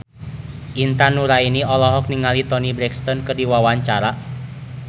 Intan Nuraini olohok ningali Toni Brexton keur diwawancara